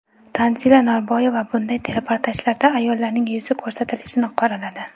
Tanzila Norboyeva bunday reportajlarda ayollarning yuzi ko‘rsatilishini qoraladi.